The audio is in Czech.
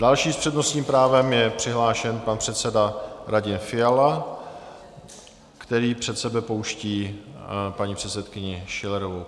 Další s přednostním právem je přihlášen pan předseda Radim Fiala, který před sebe pouští paní předsedkyni Schillerovou.